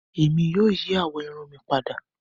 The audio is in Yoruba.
Ẹmi yóò yí àwọ irun mi pádà.